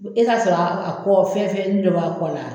E ka sɔrɔ a kɔ fɛn fɛnin dɔ b'a kɔ la.